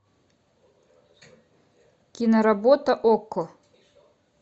киноработа окко